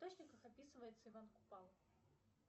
источниках описывается иван купала